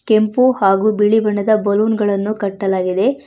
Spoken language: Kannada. ಕೆಂಪು ಹಾಗು ಬಿಳಿ ಬಣ್ಣದ ಬಲೂನ್ ಗಳನ್ನು ಕಟ್ಟಲಾಗಿದೆ.